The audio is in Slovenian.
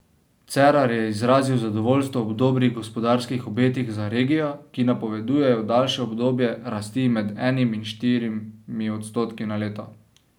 Cerar je izrazil zadovoljstvo ob dobrih gospodarskih obetih za regijo, ki napovedujejo daljše obdobje rasti med enim in štirimi odstotki na leto.